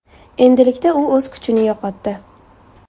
Endilikda u o‘z kuchini yo‘qotdi.